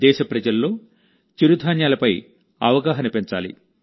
దేశ ప్రజల్లో చిరుధాన్యాలపై అవగాహన పెంచాలి